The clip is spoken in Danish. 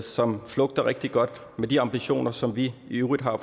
som flugter rigtig godt med de ambitioner som vi i øvrigt har